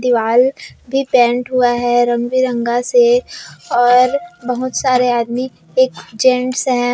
दीवाल भी पेन्ट हुआ है रंग बिरंगा से और बहोत सारे आदमी एक जेंट्स है।